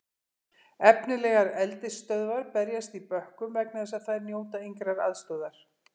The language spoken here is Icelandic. Efnilegar eldisstöðvar berjast í bökkum vegna þess að þær njóta engrar aðstoðar.